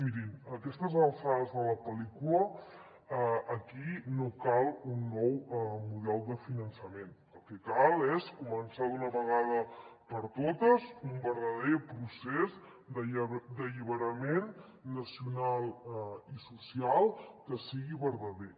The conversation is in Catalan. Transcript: mirin a aquestes alçades de la pel·lícula aquí no cal un nou model de finançament el que cal és començar d’una vegada per totes un verdader procés d’alliberament nacional i social que sigui verdader